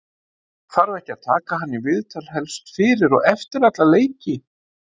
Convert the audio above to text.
þarf ekki að taka hann í viðtal helst fyrir og eftir alla leiki?